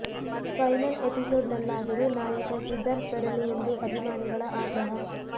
final episode ನಲ್ಲಾದರೂ ನಾಯಕ ಸಿದ್ಧಾರ್ಥ್ ಬರಲಿ ಎಂದು ಅಭಿಮಾನಿಗಳ ಆಗ್ರಹ